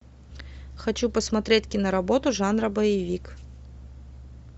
хочу посмотреть кино работу жанра боевик